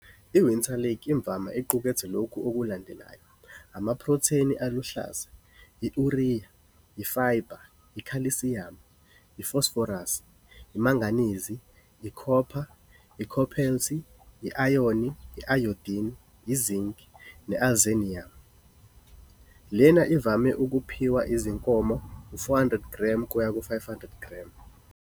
Iwinter lick imvama iqukethe lokhu okulandelayo amaphrotheni aluhlaza, i-urea, ifayiba, ikhalsiyamu, ifosforasi, imanganizi, ikhopha, ikhobelthi, i-ayoni, i-ayodini, izinc neiseleniyamu A. Lena ivame ukuphiwa izinkomo u-400 g kuya ku-500g.